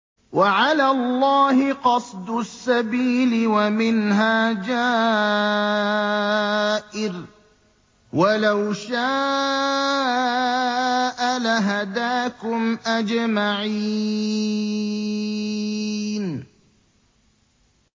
وَعَلَى اللَّهِ قَصْدُ السَّبِيلِ وَمِنْهَا جَائِرٌ ۚ وَلَوْ شَاءَ لَهَدَاكُمْ أَجْمَعِينَ